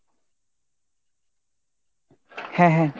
হ্যাঁ হ্যাঁ।